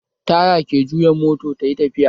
Taya ke juya mota tayi tafiya